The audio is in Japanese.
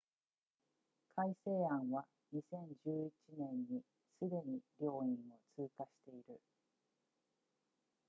改正案は2011年にすでに両院を通過している